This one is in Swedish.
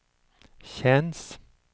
känns